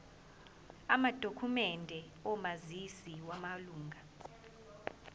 amadokhumende omazisi wamalunga